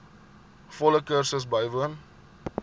volle kursus bywoon